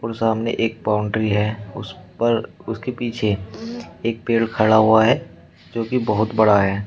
और सामने एक बाउंड्री है उस पर उसके पीछे एक पेड़ खड़ा हुआ है जो कि बहोत बड़ा है।